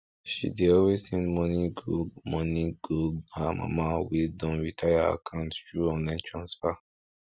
she dey always send money go money go her mama wey don retire account through online transfer